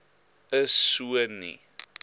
is so nie